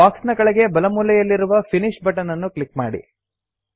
box ನ ಕೆಳಗಡೆ ಬಲಮೂಲೆಯಲ್ಲಿರುವ ಫಿನಿಶ್ ಬಟನ್ ಅನ್ನು ಕ್ಲಿಕ್ ಮಾಡಿ